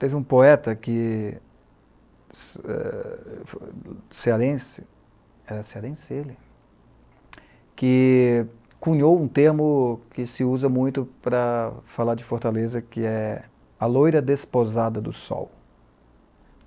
Teve um poeta que... É... cearense, era cearense ele, que cunhou um termo que se usa muito para falar de Fortaleza, que é a loira despousada do sol.